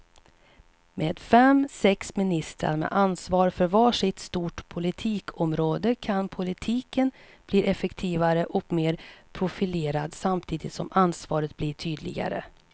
Med fem, sex ministrar med ansvar för var sitt stort politikområde kan politiken bli effektivare och mer profilerad samtidigt som ansvaret blir tydligare.